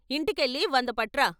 ఇంటికెళ్ళి వంద పట్రా.